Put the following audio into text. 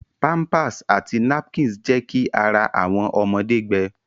Pampers àti napkins jẹ ki ará awọn ọmọde gbẹ.